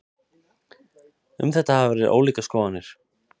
Um þetta hafa verið ólíkar skoðanir.